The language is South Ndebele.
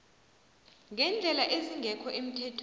ngeendlela ezingekho emthethweni